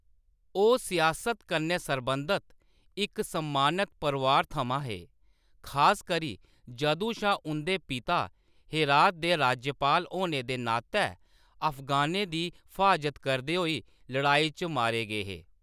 ओह्‌‌ सियासत कन्नै सरबंधत इक सम्मानत परोआर थमां हे, खासकरी जदूं शा उंʼदे पिता हेरात दे राज्यपाल होने दे नातै अफगानें दी फ्हाजत करदे होई लड़ाई च मारे गे हे।